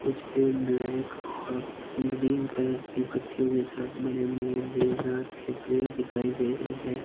कुछ पेड़ ब्लैक और ग्रीन कलर की पत्तियों के साथ बड़े बड़े देवदार के पेड़ दिखाई दे रहे हैं।